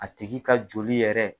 A tigi ka joli yɛrɛ